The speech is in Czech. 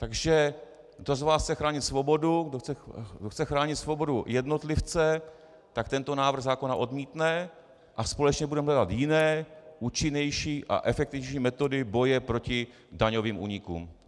Takže kdo z vás chce chránit svobodu, kdo chce chránit svobodu jednotlivce, tak tento návrh zákona odmítne, a společně budeme hledat jiné, účinnější a efektivnější metody boje proti daňovým únikům.